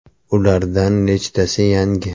Ulardan nechtasi yangi?